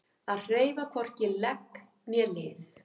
Að hreyfa hvorki legg né lið